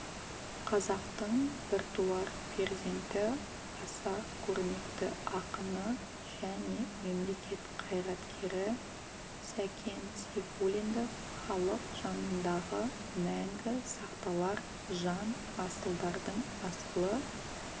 қазақтың біртуар перзенті аса көрнекті ақыны және мемлекет қайраткері сәкен сейфуллинді халық жанындағы мәңгі сақталар жан асылдардың асылы